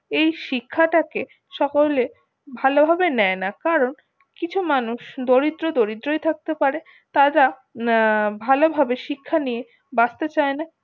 এই শিক্ষা টা কে সকলে ভালো ভাবে নেই না কারণ আর কিছু মানুষ দরিদ্র দরিদ্রই থাকতেই পারে তারা আহ ভালো ভাবে শিক্ষা নিয়ে বাঁচতে চাই না